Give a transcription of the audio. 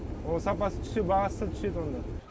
ол сапасы түссе бағасы да түседі онда